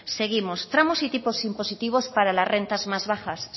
seguimos tramos y tipo impositivos para las rentas más bajas